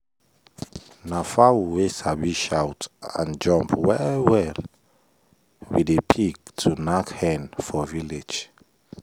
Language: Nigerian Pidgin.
na fowl wey sabi shout and jump well well we dey pick to knack hen for village.